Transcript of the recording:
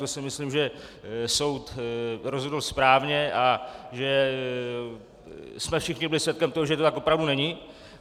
To si myslím, že soud rozhodl správně a že jsme všichni byli svědkem toho, že to tak opravdu není.